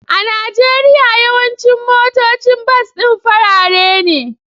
A Najeriya, yawancin motocin bas din farare ne